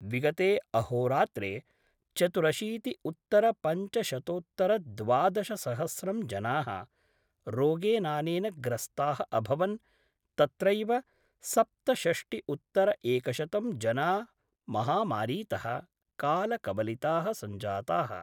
विगते अहोरात्रे चतुरशीतिउत्तरपञ्चशतोत्तरद्वादशसहस्रं जनाः रोगेनानेन ग्रस्ताः अभवन् तत्रैव सप्तषष्टिउत्तरएकशतं जना महामारीतः कालकवलिताः सञ्जाताः।